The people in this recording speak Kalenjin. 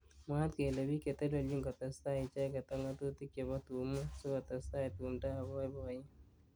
Mwaat kele bik cheteleljin kotesetai icheket ak ngatutik chebo tungwek sikotestai tumdo ab boiboyet